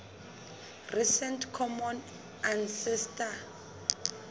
recent common ancestor